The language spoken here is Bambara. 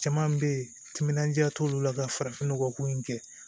Caman bɛ yen timinandiya t'olu la ka farafinnɔgɔ ko in kɛ